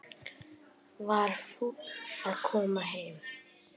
Var fúll að koma heim